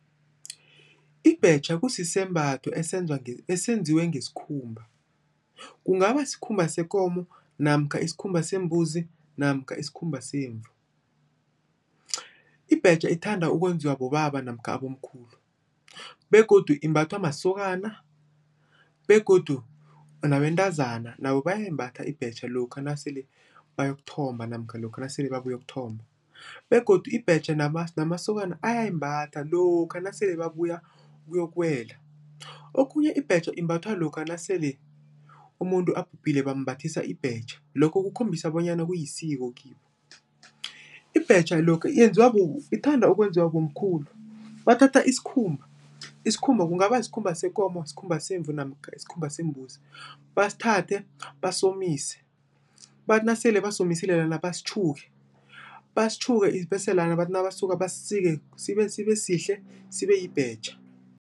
Ibhetjha kusisembatho esenziwa esenziwe ngesikhumba. Kungaba sikhumba sekomo namkha isikhumba sembuzi namkha isikhumba semvu. Ibhetjha ithanda ukwenziwa bobaba namkha abomkhulu begodu imbathwa masokana begodu nabantazana nabo bayayembatha ibhetjha lokha nasele bayokuthomba namkha lokha nasele babuyokuthomba begodu ibhetjha namasokana ayayimbatha lokha nasele babuya ukuyokuwela. Okhunye ibhetjha imbathwa lokha nasele umuntu abhubhile, bambathisa ibhetjha, lokho kukhombisa bonyana kuyisiko kibo. Ibhetjha lokha iyenziwa ithanda ukwenziwa bomkhulu. Bathatha isikhumba, isikhumba kungaba yisikhumba sekomo, yisikhumba semvu namkha isikhumba sembuzi, basithathe basomise. Bathi nasele basomisile lana basitjhuke, basitjhuke bese lana bathi nabasuka basisike sibesihle sibeyibhetjha.